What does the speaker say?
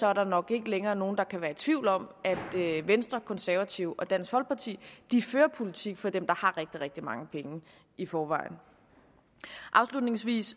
er der nok ikke længere nogen der kan være i tvivl om at venstre konservative og dansk folkeparti fører politik for dem der har rigtig rigtig mange penge i forvejen afslutningsvis